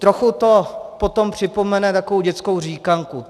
Trochu to potom připomene takovou dětskou říkanku.